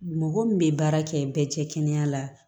Mɔgɔ min bɛ baara kɛ bɛɛ cɛ kɛnɛya la